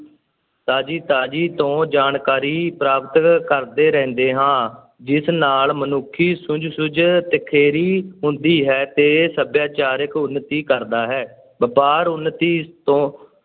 ਤਾਜ਼ੀ ਤਾਜ਼ੀ ਤੋਂ ਜਾਣਕਾਰੀ ਪ੍ਰਾਪਤ ਕਰਦੇ ਰਹਿੰਦੇ ਹਾਂ, ਜਿਸ ਨਾਲ ਮਨੁੱਖੀ ਸੂਝ ਸੂਝ ਤਿਖੇਰੀ ਹੁੰਦੀ ਹੈ ਤੇ ਸੱਭਿਆਚਾਰਕ ਉੱਨਤੀ ਕਰਦਾ ਹੈ, ਵਪਾਰ ਉੱਨਤੀ ਤੋਂ